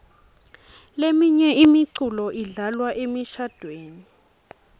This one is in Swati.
leminye imiculo idlalwa emishadvweni